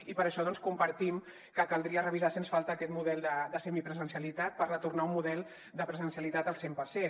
i per això compartim que caldria revisar sens falta aquest model de semipresencialitat per retornar a un model de presencialitat al cent per cent